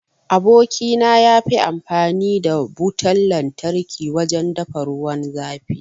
Aboki na yafi amfani da Butan lantarki wajen dafa ruwan zafi.